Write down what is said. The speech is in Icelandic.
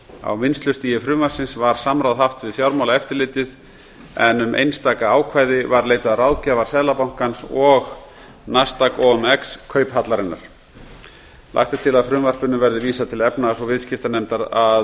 á vinnslustigi frumvarpsins var samráð haft við fjármálaeftirlitið en um einstaka ákvæði var leitað ráðgjafar seðlabankans og nasdaq omx kauphallarinnar lagt er til að frumvarpinu verði vísað til efnahags og viðskiptanefndar að